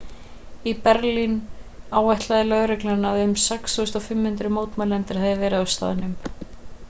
í berlín áætlaði lögreglan að um 6500 mótmælendur hafi verið á staðnum